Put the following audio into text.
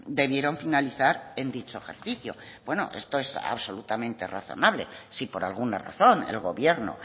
debieron finalizar en dicho ejercicio bueno esto es absolutamente razonable si por alguna razón el gobierno